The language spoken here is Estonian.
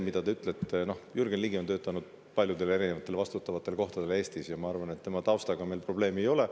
Jürgen Ligi on töötanud paljudel erinevatel vastutavatel kohtadel Eestis ja ma arvan, et tema taustaga meil probleeme ei ole.